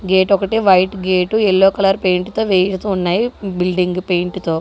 gate ఒకటి white gate yellow colour paint తో ఉన్నాయి బిల్డింగు పెయింట్ తో--